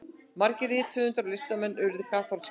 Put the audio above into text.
margir rithöfundar og listamenn urðu kaþólskir